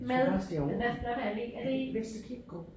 Jeg tror faktisk det er ovre. Er det ikke Vestre Kirkegård?